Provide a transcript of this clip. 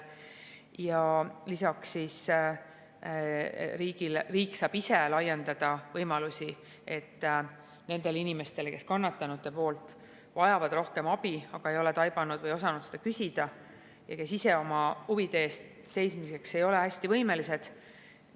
Ja lisaks saab riik laiendada võimalusi abistada neid inimesi, kes kannatanutena vajavad rohkem abi, aga ei ole taibanud või osanud seda küsida ja kes ise ei ole võimelised oma huvide eest seisma.